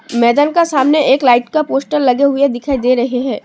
मैदान का सामने एक लाइट का पोस्टर लगे हुए दिखाई दे रहे हैं।